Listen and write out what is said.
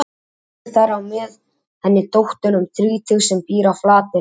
Sonur þeirra á með henni dóttur um þrítugt sem býr á Flateyri.